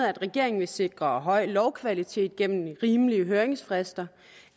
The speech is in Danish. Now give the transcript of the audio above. at regeringen vil sikre en høj lovkvalitet gennem rimelige høringsfrister